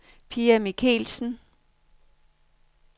Pia Michelsen